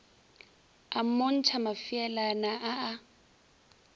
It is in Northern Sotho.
a mmontšha mafeelana a a